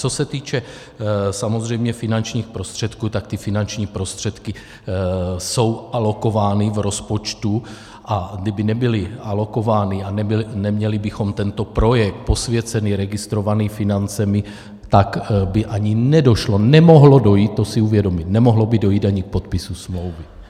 Co se týče samozřejmě finančních prostředků, tak ty finanční prostředky jsou alokovány v rozpočtu, a kdyby nebyly alokovány a neměli bychom tento projekt posvěcený, registrovaný financemi, tak by ani nedošlo, nemohlo dojít, to si uvědomit, nemohlo by dojít ani k podpisu smlouvy.